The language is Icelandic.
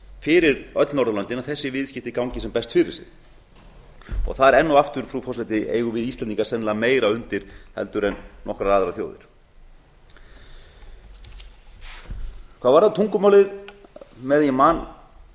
fyrir öll norðurlöndin að þessi viðskipti gangi sem best fyrir sig það er enn og aftur frú forseti eigum við íslendingar sennilega meira undir heldur en nokkrar aðrar þjóðir hvað varðar tungumálið meðan ég man